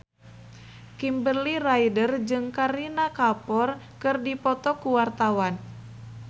Kimberly Ryder jeung Kareena Kapoor keur dipoto ku wartawan